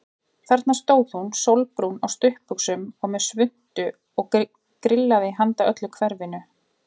Þarna stóð hún sólbrún á stuttbuxum og með svuntu og grillaði handa öllu hverfinu.